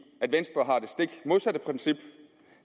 at venstre har det stik modsatte princip